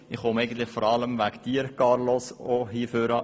Ich komme vor allem nach vorne, um dir, lieber Carlos, zu danken.